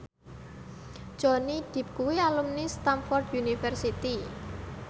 Johnny Depp kuwi alumni Stamford University